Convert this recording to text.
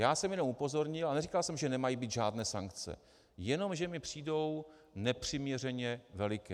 Já jsem jenom upozornil, a neříkal jsem, že nemají být žádné sankce, jen že mi přijdou nepřiměřeně veliké.